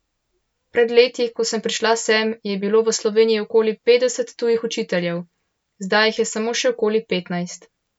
Pred leti, ko sem prišla sem, je bilo v Sloveniji okoli petdeset tujih učiteljev, zdaj jih je samo še okoli petnajst.